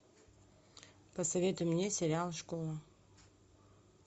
посоветуй мне сериал школа